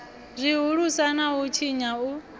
zwihulusa na u tshinya u